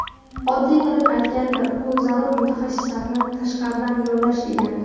Oddiy qilib aytganda bu zarur mutaxassislarni tashqaridan yollash, degani.